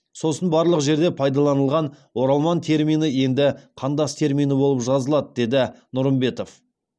сосын барлық жерде пайдаланылған оралман термині енді қандас термині болып жазылады деді нұрымбетов